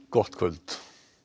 gott kvöld